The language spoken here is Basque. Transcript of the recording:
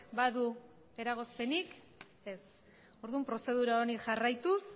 badu eragozpenik ez orduan prozedura honi jarraituz